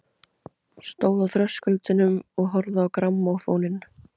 Stóð á þröskuldinum og horfði á grammófóninn.